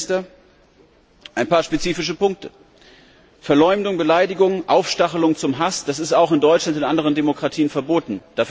Herr Premierminister, ein paar spezifische Punkte Verleumdung, Beleidigung, Aufstachelung zum Hass sind auch in Deutschland und in anderen Demokratien verboten.